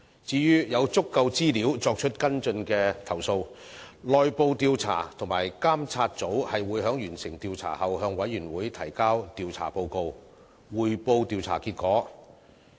至於有足夠資料作出跟進的投訴，內部調查及監察組會在完成調查後向委員會提交調查報告，匯報調查結果。